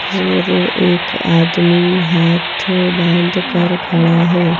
और एक आदमी हाथ बांध कर खड़ा है।